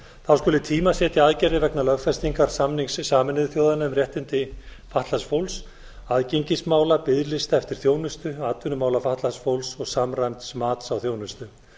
þá skuli tímasetja aðgerðir vegna lögfestingar samnings sameinuðu þjóðanna um réttindi fatlaðs fólks aðgengismála biðlista eftir þjónustu atvinnumála fatlaðs fólks og samræmds mats á þjónustu